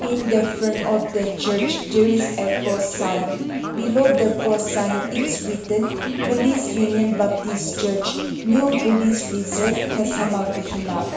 in the front of the church there is a cross sign below the cross sign it's written police union baptist church new police reserve Phesama Kohima.